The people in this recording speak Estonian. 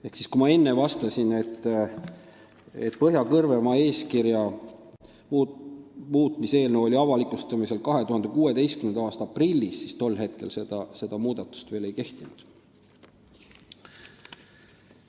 Ehk kui ma enne vastasin, et Põhja-Kõrvemaa eeskirja muutmise eelnõu oli avalikustamisel 2016. aasta aprillis, siis tol ajal see muudatus veel ei kehtinud.